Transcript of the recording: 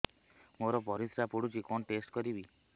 ମୋର ପରିସ୍ରା ପୋଡୁଛି କଣ ଟେଷ୍ଟ କରିବି